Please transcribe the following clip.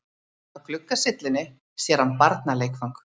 Á gluggasyllunni sér hann barnaleikfang.